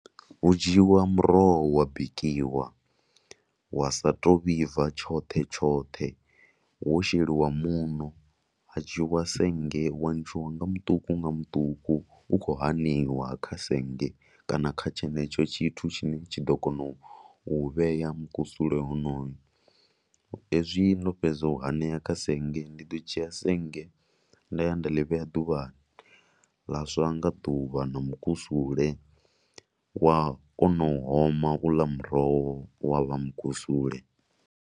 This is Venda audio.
Hu dzhiiwa muroho wa bikiwa wa sa tou vhibva tshoṱhe tshoṱhe wo sheliwa muṋo ha dzhiiwa sennge wa ntshiwa nga muṱuku ma muṱuku u khou aneiwa kha sennge kana kha tshenetsho tshithu tshine tshi ḓo kona u vhea mukusula honoyo. Hezwi ndo fhedza u anea kha sennge ndi ḓo dzhia sennge nda ya nda ḽi vhea ḓuvhani ḽa swa nda ḓuvha na mukusule wa kona u oma muroho wa vha mukusule.